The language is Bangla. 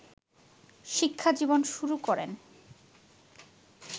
শিক্ষাজীবন শুরু করেন